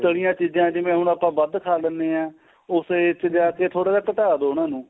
ਤਲੀਆਂ ਚੀਜ਼ਾਂ ਜਿਵੇਂ ਹੁਣ ਆਪਾਂ ਵੱਧ ਖਾ ਲੈਣੇ ਆ ਉਸੇ ਇੱਥੇ ਜਾ ਕੇ ਥੋੜਾ ਜਾ ਘਟਾ ਦੋ ਇੰਨਾ ਨੂੰ